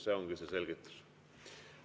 See ongi see selgitus.